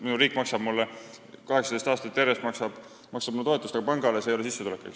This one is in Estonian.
Minu riik maksab mulle 18 aastat järjest toetust, aga panga jaoks see ei ole sissetulek.